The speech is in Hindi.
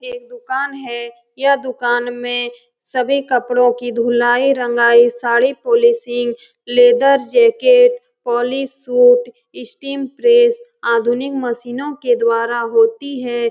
एक दुकान है यह दुकान में सभी कपड़ो की धुलाई-रंगाई sari polishing leather jacket polish suit steam press आधुनिक मशीनों के द्वारा होती है ।